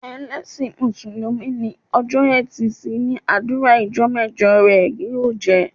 Ẹlẹsin músùlùmí ni, ọjọ́ e̩tì si ni adua ijọ́ mẹjọ rẹ ó jẹ́